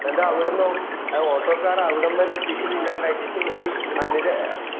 എന്നിട്ട് അവിടുന്നോ ആ auto ക്കാരെ അവിടംവരെ എത്തിക്കുന്ന ഇല്ലാണ്ടാക്കീട് ഇവര് അനില്